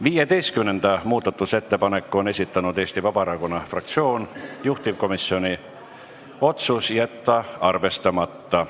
15. muudatusettepaneku on esitanud Eesti Vabaerakonna fraktsioon, juhtivkomisjoni otsus: jätta arvestamata.